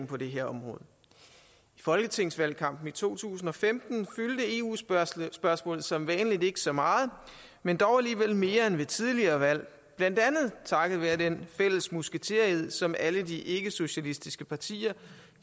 på det her område i folketingsvalgkampen i to tusind og femten fyldte eu spørgsmål spørgsmål som vanligt ikke så meget men dog alligevel mere end ved tidligere valg blandt andet takket være den fælles musketered som alle de ikkesocialistiske partier